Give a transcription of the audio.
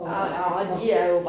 Og og tro